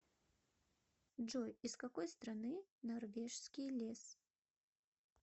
джой из какой страны норвежский лес